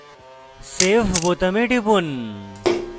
save বোতামে টিপুন